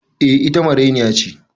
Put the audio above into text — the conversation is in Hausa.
Eh, ita marainiya ce.